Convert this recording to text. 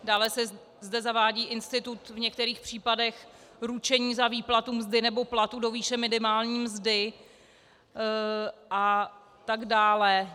Dále se zde zavádí institut v některých případech ručení za výplatu mzdy nebo platu do výše minimální mzdy a tak dále.